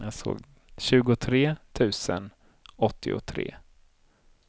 tjugotre tusen åttiotre